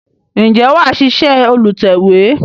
Ǹjẹ́ wà ṣíṣe olùtẹ̀we?